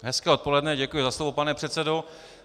Hezké odpoledne, děkuji za slovo, pane předsedo.